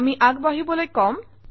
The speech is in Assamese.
আমি আগবাঢ়িবলৈ কম